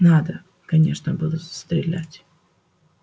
надо конечно было стрелять